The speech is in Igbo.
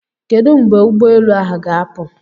Kedu mgbe ụgbọ elu ahụ ga-apụ?